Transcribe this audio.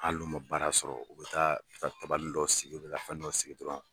Ali n'u ma baara sɔrɔ, u bɛ taa tabalinin dɔ sigi, u bɛ taa dɔnin dɔ sigi.